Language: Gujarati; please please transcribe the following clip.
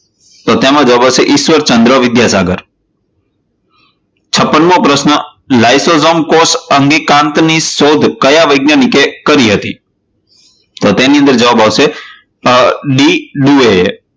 તો તેમાં જવાબ આવશે ઈશ્વરચંદ્ર વિધાનગર છપ્પન મો પ્રશ્ન લ્યસોઝોમ કોષ અંગિકાની સોધ કયા વૈજ્ઞાનિકે કરી હતી? તો તેની અંદર જવાબ આવશે .